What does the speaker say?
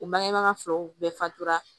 U bangebaga filaw bɛɛ fatora